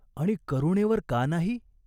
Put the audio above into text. आणि करुणेवर का नाही ?